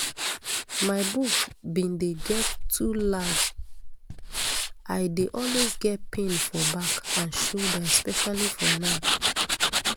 my boobs bin dey get too large i dey always get pain for back and shoulder especially for night